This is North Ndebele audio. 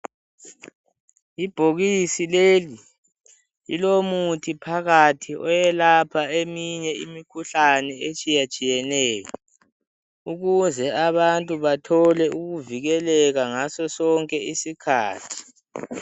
Ibhokisi leli lilomuthi phakathi oyelapha eminye imikhuhlane, etshiyetshiyeneyo ukuze abantu bathole ukuvikeleka ngaso sonke isikhathi.